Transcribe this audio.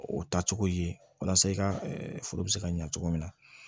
O taa cogo ye walasa i ka foro be se ka ɲa cogo min na